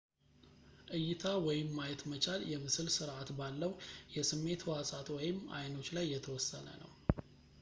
እይታ ወይም ማየት መቻል የምስል ስርዐት ባለው የስሜት ሕዋሳት ወይም አይኖች ላይ የተወሰነ ነው